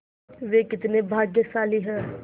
वे कितने भाग्यशाली हैं